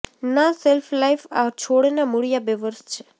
ના શેલ્ફલાઇફ આ છોડના મૂળિયા બે વર્ષ છે